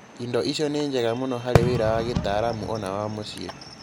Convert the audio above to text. Indo icio nĩ njega mũno harĩ wĩra wa gitaalamu o na wa mũciĩ